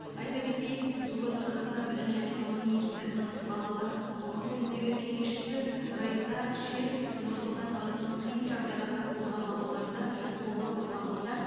айта кетейік бүгін қазақстан білім және ғылым министрінің балалар құқығы жөніндегі кеңесшісі райса шер нұр сұлтан қаласының қиын жағдайға тап болған балаларды қолдау орталығында